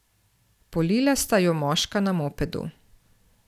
Polila sta ju moška na mopedu.